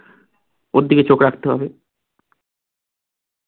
ওর দিকে চোখ রাখতে হবে